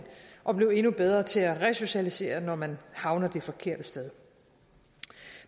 og blive endnu bedre til at resocialisere når man havner det forkerte sted